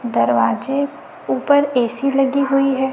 दरवाजे ऊपर ए_सी लगी हुई है।